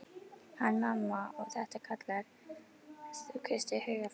Hanna-Mamma: Og þetta kallar þú kristið hugarfar.